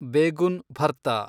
begun ಭರ್ತಾ